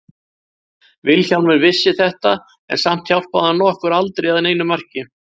Vilhjálmur vissi þetta en samt hjálpaði hann okkur aldrei að neinu marki.